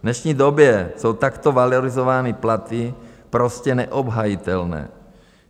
V dnešní době jsou takto valorizované platy prostě neobhajitelné!